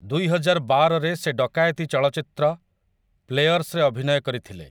ଦୁଇହଜାରବାର ରେ ସେ ଡକାୟତି ଚଳଚ୍ଚିତ୍ର 'ପ୍ଲେୟର୍ସ'ରେ ଅଭିନୟ କରିଥିଲେ ।